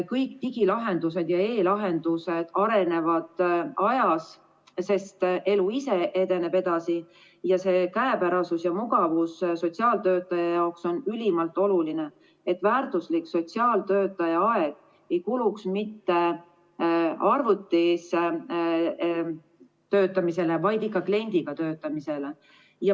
Kõik digilahendused ja e-lahendused arenevad ajas, sest elu ise edeneb edasi, ning käepärasus ja mugavus sotsiaaltöötaja jaoks on ülimalt oluline, selleks et väärtuslik sotsiaaltöötaja aeg ei kuluks mitte arvutis töötamisele, vaid ikka kliendiga töötamisele.